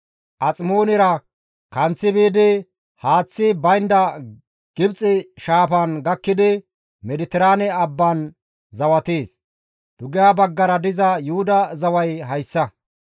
Aximoonera kanththi biidi haaththi baynda Gibxe shaafan gakkidi Mediteraane abban zawatees. Dugeha baggara diza Yuhuda zaway hayssa.